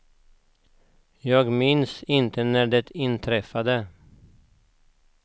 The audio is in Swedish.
Jag minns inte när de inträffade.